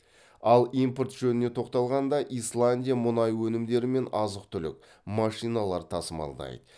ал импорт жөніне тоқталғанда исландия мұнай өнімдері мен азық түлік машиналар тасымалдайды